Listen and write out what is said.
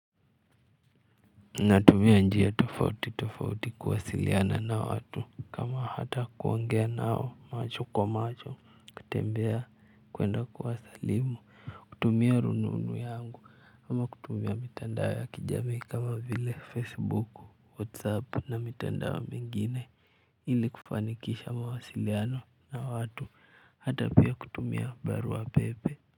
Natumia njia tofauti tofauti kuwasiliana na watu kama hata kuongea nao macho kwa macho kutembea kwenda kuwasalimu kutumia rununu yangu ama kutumia mitandao ya kijamii kama vile facebook whatsapp na mitandao mengine ili kufanikisha mawasiliano na watu hata pia kutumia barua pepe.